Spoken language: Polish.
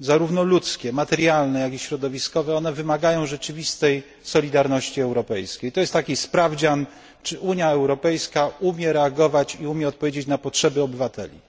zarówno ludzkie, materialne, jak i środowiskowe, wymagają rzeczywistej solidarności europejskiej. To jest sprawdzian, czy Unia Europejska umie reagować i umie odpowiedzieć na potrzeby obywateli.